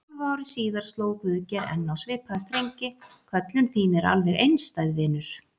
Hálfu ári síðar sló Guðgeir enn á svipaða strengi: Köllun þín er alveg einstæð, vinur.